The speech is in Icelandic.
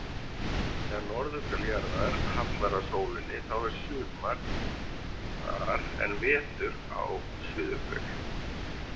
Þegar norðurhvel jarðar hallar að sólinni þá er sumar þar en vetur á suðurhveli.